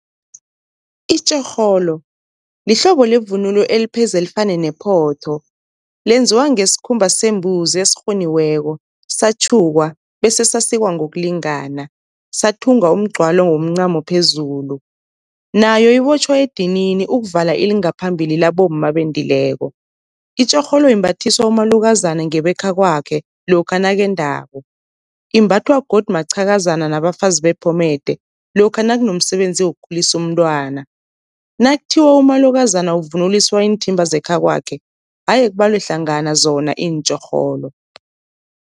Itjorholo lihlobo levunulo elipheze lifane nephotho, lenziwa ngesikhumba sembuzi esirhuniweko, satjhukwa bese sasikwa ngokulingana, sathungwa umgcwalo womncamo phezulu. Nayo ibotjhwa edinini ukuvala ilingaphambili labomma abendileko, itjorholo imbathiswa umalukazana ngebekhakwakhe lokha nakendako. Imbathwa godu maqhakazana nabafazi bephomede lokha nakunomsebenzi wokukhulisa umntwana, nakuthiwa umalukazana uvunuliswa iinthimba zekhakwakhe aye kubalwe hlangana zona iintjorholo.